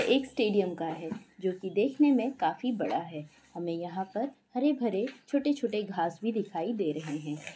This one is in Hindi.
एक स्टैडियम का है जो की देखने में काफी बड़ा है| हमें यहाँ पर हरे भरे छोटे छोटे घास भी दिखाई दे रहे है।